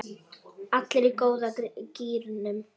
Allir í góða gírnum.